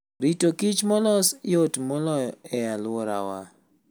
Rito kich molos yot moloy e aluorawa.